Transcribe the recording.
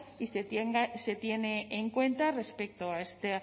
y se tenga en cuenta respecto a esta